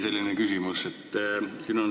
Teine küsimus on selline.